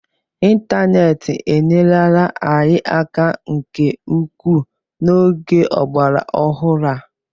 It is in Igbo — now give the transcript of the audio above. Ịntaneetị enyerela anyị aka nke ukwuu n'oge ọgbara ọhụrụ a